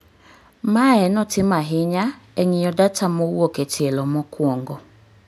Mae notim ahinya e ng'iyo data mowuok e tielo mokuongo